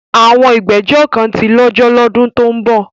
Àwọn ìgbẹ́jọ́ kan tí lọ́jọ́ lọ́dún tó ń bọ̀.